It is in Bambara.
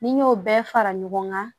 Ni n y'o bɛɛ fara ɲɔgɔn kan